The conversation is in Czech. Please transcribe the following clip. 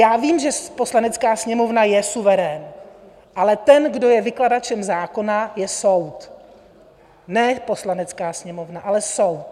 Já vím, že Poslanecká sněmovna je suverén, ale ten, kdo je vykladačem zákona, je soud, ne Poslanecká sněmovna, ale soud.